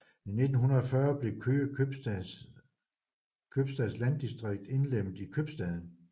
I 1940 blev Køge købstads landdistrikt indlemmet i købstaden